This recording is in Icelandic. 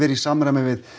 í samræmi við